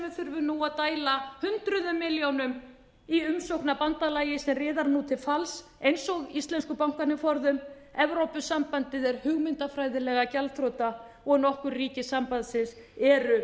nú að dæla hundruðum milljónum í umsókn að bandalagi sem riðar nú til falls eins og íslensku bankarnir forðum evrópusambandið er hugmyndafræðilega gjaldþrota og nokkur ríki sambandsins eru